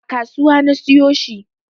A kasuwa na siyo shi